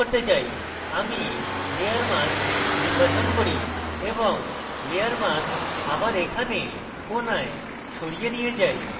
আমি layer mask নির্বাচন করি এবং layer mask আবার এখানে কোণায় সরিয়ে নিয়ে যাই